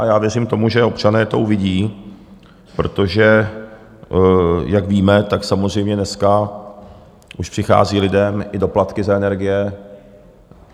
A já věřím tomu, že občané to uvidí, protože, jak víme, tak samozřejmě dneska už přichází lidem i doplatky za energie.